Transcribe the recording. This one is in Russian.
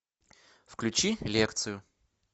включи лекцию